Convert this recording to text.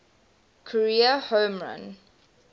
career home run